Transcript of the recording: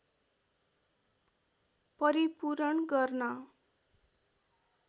परिपूरण गर्न